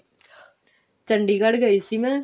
ਚੰਡੀਗੜ੍ਹ ਗਈ ਸੀ ਮੈਂ